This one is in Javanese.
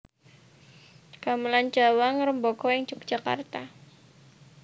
Gamelan Jawa ngrembaka ing Yogyakarta